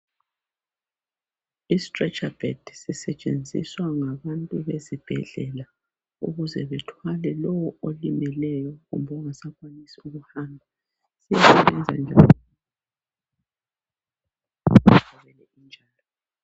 Istretsha bhedi sisetshenziswa ngabantu besibhedlela ukuze bethwale lo olimeleyo kumbe ongasakwanisi ukuhamba